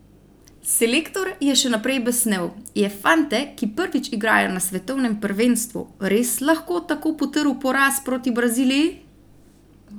Selektor je še naprej besnel: "Je fante, ki prvič igrajo na svetovnem prvenstvu, res lahko tako potrl poraz proti Braziliji?